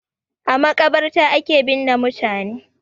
A maƙabarta ake binne mutane.